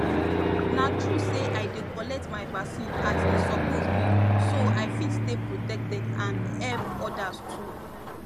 na true say i dey collect my vaccine as e suppose be so i fit stay protected and help others too